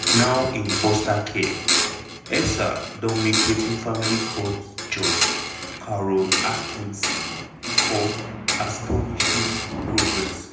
now in foster care elsa don make wetin family court judge carol atkinson call "astonishing progress".